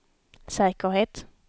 säkerhet